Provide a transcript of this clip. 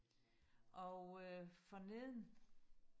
og øh for neden